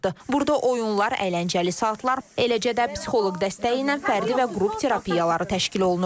Burda oyunlar, əyləncəli saatlar, eləcə də psixoloq dəstəyi ilə fərdi və qrup terapiyaları təşkil olunur.